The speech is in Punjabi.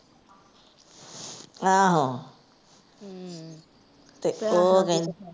ਆਹੋ ਤੇ ਉਹ ਕਹਿੰਦੇ।